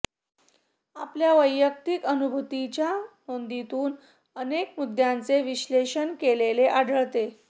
आपल्या वैयक्तिक अनुभूतींच्या नोंदींतून अनेक मुद्द्यांचे विश्लेषण केलेले आढळते